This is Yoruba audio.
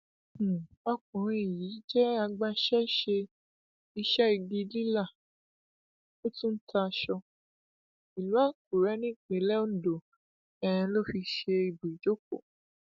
um ọkùnrin yìí jẹ agbaṣẹṣe iṣẹ igi lílà ó tún ń ta aṣọ ìlú àkùrè nípìnlẹ ondo um ló fi ṣe ibùjókò